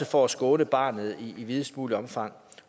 for at skåne barnet i videst muligt omfang